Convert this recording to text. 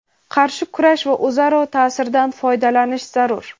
qarshi kurash va o‘zaro ta’sirdan foydalanish zarur.